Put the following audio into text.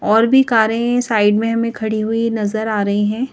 और भी कारें साइड में हमें खड़ी हुई नजर आ रही है।